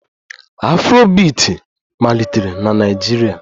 Afrobiiti malitere na Naịjirịa